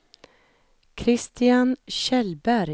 Christian Kjellberg